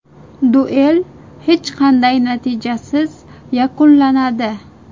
Duel hech qanday natijasiz yakunlanadi.